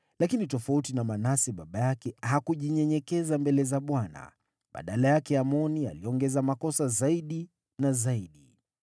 Lakini tofauti na Manase baba yake, hakujinyenyekeza mbele za Bwana , badala yake Amoni aliongeza hatia zaidi na zaidi.